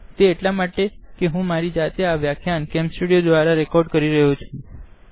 આ એટલા માટે કારણકે હું મારી જાતે આ વ્યાખ્યાન કેમ સ્ટુડીઓ મા રેકોડીંગ કરી રહી છુ